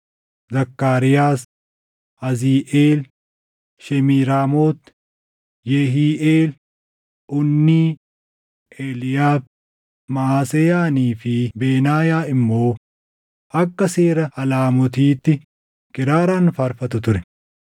Zakkaariyaas, Aziiʼeel Shemiiraamoot, Yehiiʼeel, Unnii, Eliiyaabi, Maʼaseyaanii fi Benaayaa immoo akka seera alamootiitti + 15:20 Alamootiin gosa muuziiqaa ti. kiraaraan faarfatu ture;